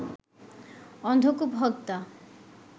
অন্ধকূপ হত্যা